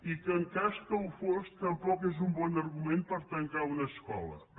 i que en cas que ho fos tampoc és un bon argument per tancar una escola